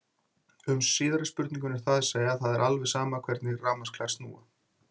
Um síðari spurninguna er það að segja að það er alveg sama hvernig rafmagnsklær snúa.